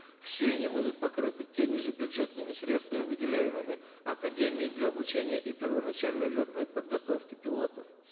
все они будут покрыты теми же бюджетными средствами выделяемыми академии для обучения и первоначальной летной подготовки пилотов